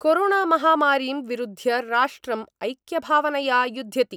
कोरोणामहामारीं विरुध्य राष्ट्रम् ऐक्यभावनया युद्ध्यति।